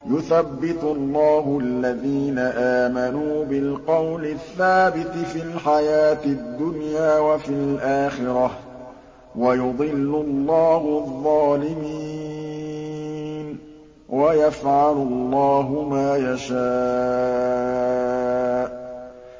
يُثَبِّتُ اللَّهُ الَّذِينَ آمَنُوا بِالْقَوْلِ الثَّابِتِ فِي الْحَيَاةِ الدُّنْيَا وَفِي الْآخِرَةِ ۖ وَيُضِلُّ اللَّهُ الظَّالِمِينَ ۚ وَيَفْعَلُ اللَّهُ مَا يَشَاءُ